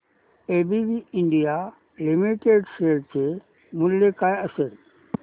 ABB India limited share चे मूल्य काय असेल